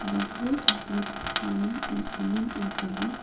the group includes-s men and women and children.